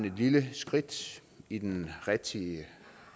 et lille skridt i den rigtige